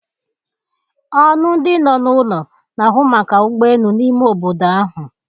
Ọnụ ndi no n'ụlọ na-ahụ maka ụgbọ elu n'ime obodo ahụ.